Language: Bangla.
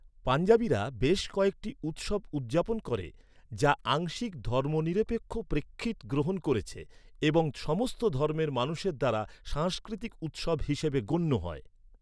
পঞ্জাবিরা বেশ কয়েকটি উৎসব উদযাপন করে, যা আংশিক ধর্মনিরপেক্ষ প্রেক্ষিত গ্রহণ করেছে এবং সমস্ত ধর্মের মানুষের দ্বারা সাংস্কৃতিক উৎসব হিসেবে গণ্য হয়।